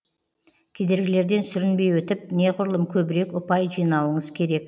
кедергілерден сүрінбей өтіп неғұрлым көбірек ұпай жинауыңыз керек